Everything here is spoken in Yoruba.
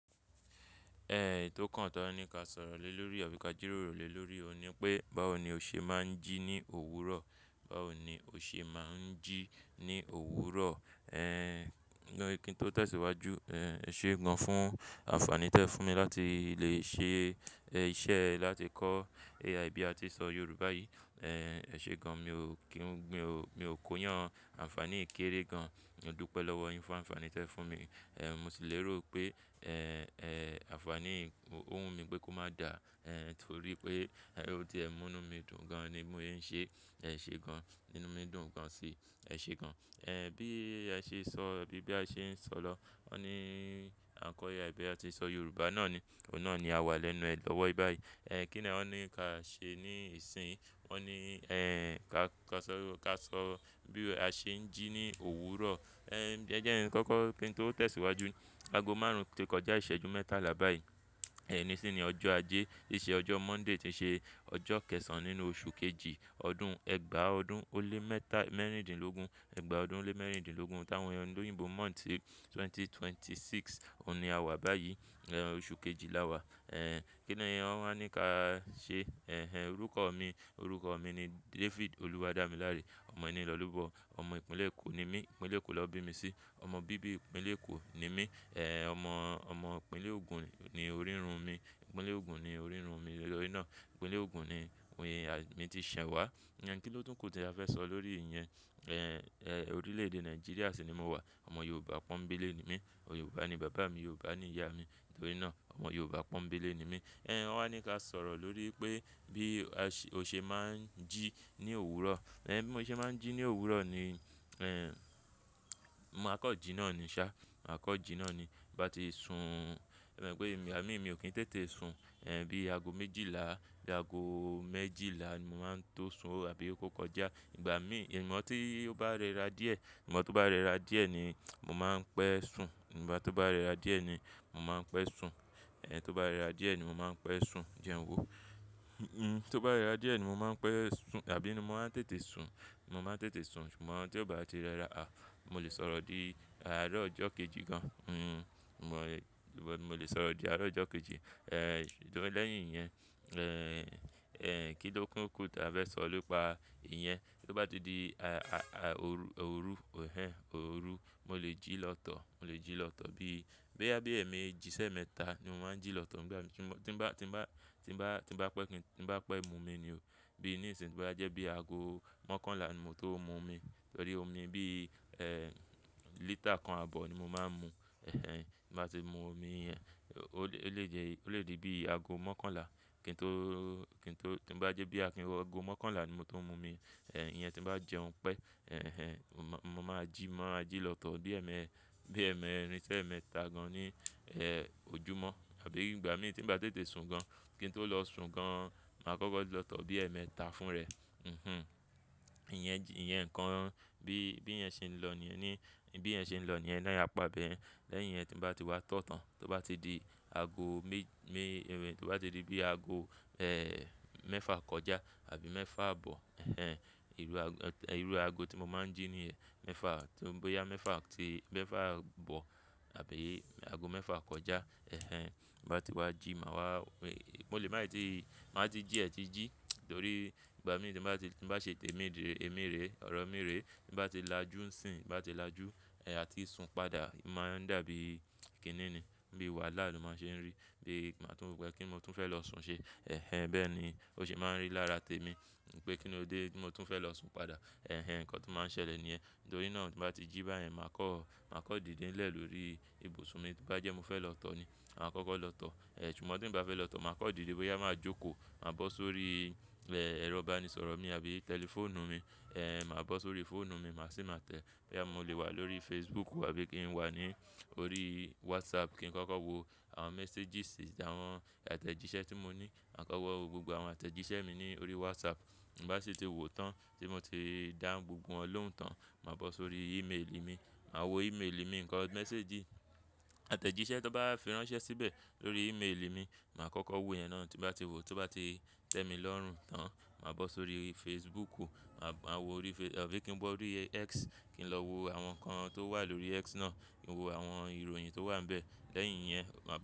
Eyi tó kàn tọ́ ní ka sọ̀rọ̀ lé lórí àbí ka jíròrò lé lórí òun ni pé báwo ni o ṣe máa ń jí ní òwúrọ̀? Báwo ni o ṣe máa ń jí ní òwúrọ̀? Kí n tó tẹ̀síwájú, ẹ̀ ṣe gan fún àǹfààní tẹ fún mi láti lè ṣe iṣẹ́ láti kọ́ AI bí a ti ṣọ Yorùbá yìí. Ẹ ṣe gan, mi ò kí ń, mi ò, mi ò kó yàn àǹfààní yii kérè gan. Mo dúpẹ́ lọ́wọ́ yin fún àǹfààní tẹ fún mi. Mo sì lérò pé, àǹfààní ò wùn mi pé kó má dà, torí pé ó ti ẹ́ mú inu mi dùn gan ni bi mò se ń ṣe. Ẹ ṣe gan, ínú mi dùn gan si. Ẹ ṣe gan. Bí a ṣe sọ, bí, bí a ṣe ń sọ̀lo. Wọ́n ní à ń kọ́ AI bí a ti ṣọ Yorùbá náà ni. Òun náà ni a wà lẹ́nu ẹ lọ́wọ́ báyìí.kí ni wọ́n ní ka ṣe ní ìsìn? Wọ́n ní, ẹ́ń, ká, ká sọ, ká sọ bí a ṣe ń jí ní òwúrọ̀. Ẹ jẹ́ kọ́kọ́ kí n tó tẹ̀síwájú. Ago márùn-ún ti kọjá ìṣẹ́jú mẹ́tàlá báyìí. Oni sini ọjọ́ ajé, ìṣe ọjọ́ Monday tí ṣe ọjọ́ kẹ́ẹ̀sán nínú oṣù kejì ọdún ẹgbàá ọdún ó lé mẹ́ta mẹ́rìndínlógún. Ẹgbàá ọdún ó lé mẹ́rìndínlógún. T'áwọn ọni oyinbo month ti 2026. Óun ni a wà báyìí. Oṣù kejì la wà. Kí ni wọ́n máa ní ká ṣe? Ẹ̀hẹn, orúkọ mi, orúkọ mi ni David Oluwadamilare. Ọmọ eni lo lobo, ọmọ Ìpínlẹ̀ Èkó ni mí. Ìpínlẹ̀ Èkó ló bí mi sí. Ọmọ bíbí Ìpínlẹ̀ Èkó ni mí. Ọmọ, ọmọ Ìpínlẹ̀ Ògùn ni orírun mi. Ìpínlẹ̀ Ògùn ni orírun mi. Lórí náà, Ìpínlẹ̀ Ògùn ni ohun yẹn ni à mi ti ṣẹ̀ wá. Ìyẹn kí ló tún kù tí a fẹ́ sọ lórí ìyẹn. Orílẹ̀-èdè Nigeria sì ni mo wà. Ọmọ Yorùbá pọ́nńbélé ni mí. Yorùbá ni bàbá mi, Yorùbá ni ìyá mi. Nítorí náà, ọmọ Yorùbá pọ́nńbélé ni mí. Wọ́n wa ní ka sọ̀rọ̀ lórí pé bí a ṣe, o ṣe máa ń jí ní òwúrọ̀. Bí mo ṣe máa ń jí ní òwúrọ̀ ni, ma kan jí náà ni ṣá. Màá kọ jí náà ni. Bí mo bá ti sun, e mope ẹ̀mi mi ò kí n tètè sun. Bí ago méjìlá, bí ago méjìlá ni mo máa ń tó sun àbí ó kó kọjá. Ìgbà mí, ìmọ̀ tí ó bá rẹra díẹ̀, ìmọ̀ tó bá rẹra díẹ̀ ni mò máa ń pẹ́ sun. Ìgba tó bá rẹra díẹ̀ ni mò máa ń pẹ́ sun. Tó bá rẹra díẹ̀ ni mò máa ń pẹ́ sun jẹn wo. Tó bá rẹra díẹ̀ ni mò máa ń pẹ́ sun àbí ni mo máa ń tètè sun. Mo máa ń tètè sun. Ṣùgbọ́n tí ó bá ti rẹra, à, mo lè sọ̀rọ̀ di àárọ̀ ọjọ́ kejì gan. Mo lè, mo lè sọ̀rọ̀ di àárọ̀ ọjọ́ kejì. Lẹ́yìn yẹn, kí ló kún kù tí a fẹ́ sọ nipa ìyẹn? Tó bá di di a-a-a òru, òru, ehẹn, òru, mo lè jí lọ́tọ̀. Mo lè jí lọ́tọ̀ bí, boya bí ẹ̀ mi jí sé mẹ́ta ni mo máa ń jí lọ́tọ̀. Ìgbà tí mo, tí ń bá, tí ń bá, tí ń bá, tí ń bá pẹ́ kí n, tí ń bá pẹ́ mu omi nì o. Bí ní ìsìn tó bá jẹ́ bí ago mọ́kànlá ni mò tó ń mu omi. Torí omi bí, ẹ̀, lítà kan àbọ̀ ni mo máa ń mu. Ẹ̀hẹn, tí mo bá ti mu omi yẹn, ó lè jẹ́, ó lè di bí ago mọ́kànlá. Kí n tó, kí n tó, tí ń bá jẹ́ bí Akin, ago mọ́kànlá ni mo tó ń mu omi. Ìyẹn tí bá jẹun pé, ẹ̀hẹn, mo máa jí, máa jí lọ́tọ̀ bí ẹ̀mẹ́, bí ẹ̀mẹrin sí ẹ̀mẹ́ta gan ní, ojúmọ́ àbí ìgbà mí tí ń bá tètè sun gan. Kí n tó lọ sun gan, màá kọ́kọ́ lọ́tọ̀ bí ẹ̀mẹ́ ta fún rẹ̀. Hhm. Ìyẹn ji, ìyẹn ǹkan bí, bí ẹ̀ ń ṣe ń lọ ní, ní, bí ẹ̀ ń ṣe ń lọ ní ẹ̀ náà apa beyen. Lẹ́yìn yẹn tí ń bá ti wá tọ̀tàn, tó bá ti di ago méj-méjèèé, tó bá ti di bí ago, mẹ́fà kọjá àbí mẹ́fà àbọ̀. Ẹ̀hẹn, irú ago, irú ago tí mo máa ń jí ní ẹ́ mẹ́fà. Tó ń bá yá mẹ́fà, tí mẹ́fà àbọ̀ àbí ago mẹ́fà kọjá. Ẹ̀hẹn, bá ti wá jí, màá wá, mo lè má ì tí, màá ti jí ẹ̀ ti jí torí ìgbà mí tí ń bá ti, tí ń bá ṣe tèémíìré, ẹ̀míìré, ọ̀rọ̀ mìírẹ̀, tí ń bá ti lajú ń sìn, bá ti lajú, à ti sun padà. Ì máa ń dàbí kìíní ni. Bí wahala ló máa ń ṣe ń rí. Bí màá tún ropẹ̀ kí mo tún fẹ́ lọ sun ṣe. Ẹ̀hẹn, bẹ́ẹ̀ ni ó ṣe máa ń rí lára tèmi pé kín ni ó dé tí mo tún fẹ́ lọ sun padà. Ẹ̀hẹn, ǹkan tó máa ń ṣẹlẹ̀ ní ẹ́. Nítorí náà tí bá ti jí báyẹn, màá kọ́, màá kọ́ dìde ńlẹ̀ lórí ibùsùn mi. Tó bá jẹ́ mo fẹ́ lọ̀tọ̀ ni, màá kọ́kọ́ lọ̀tọ̀. Ṣùgbọ́n tí ń bá fẹ́ lọ̀tọ̀, màá kọ́ dìde bóyá máa jókòó, màá bọ́ sórí, ẹ̀rọ ìbánisọ̀rọ̀ mi àbí tẹlifóònù mi. Màá bọ́ sórí fóònù mi, màá sì máa tẹ́. Bóyá mo lè wà lórí Facebook àbí kí n wà ní orí WhatsApp kí n kọ́kọ́ wo àwọn messages àwọn àtẹ̀jíṣẹ́ tí mo ní. Màá kọ́kọ́ wo gbogbo àwọn àtẹ̀jíṣẹ́ mi ní orí WhatsApp. Tin ba sì ti wò tán tí mo ti dáhùn gbogbo wọn lóhùn tán, màá bọ́ sórí email mi. Màá wo email mi, ǹkan message àtẹ̀jíṣẹ́ tí wọ́n bá fi ránṣẹ́ síbẹ̀ lórí email mi, màá kọ́kọ́ wo ìyẹn náà. Tó bá ti wò, tó bá ti tẹ́ mi lọ́rùn tán, màá bọ́ sórí Facebook tàbí kí n wọ orí X kí n lọ wo àwọn ǹkan tó wà lórí X náà. Mo wo àwọn ìròyìn tó wà níbẹ̀. Lẹ́yìn yẹn, màá bọ́-